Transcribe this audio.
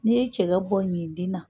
N'i ye cɛ bɔ ɲintin na.